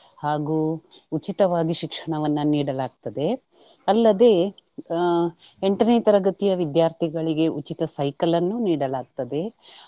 ಹಾಗೂ ಉಚಿತವಾಗಿ ಶಿಕ್ಷಣವನ್ನ ನೀಡಲಾಗ್ತದೆ. ಅಲ್ಲದೆ ಆಹ್ ಎಂಟನೇ ತರಗತಿಯ ವಿದ್ಯಾರ್ಥಿಗಳಿಗೆ ಉಚಿತ ಸೈಕಲನ್ನು ನೀಡಲಾಗ್ತದೆ.